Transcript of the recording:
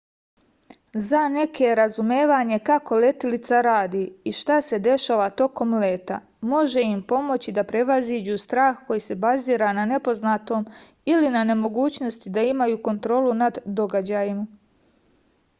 za neke razumevanje kako letelica radi i šta se dešava tokom leta može im pomoći da prevaziđu strah koji se bazira na nepoznatom ili na nemogućnosti da imaju kontrolu nad događajima